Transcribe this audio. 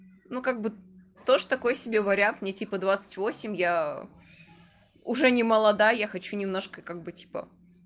ну как бы тоже такое себе вариант не типа двадцать восемь я уже немолодая хочу немножко как бы типа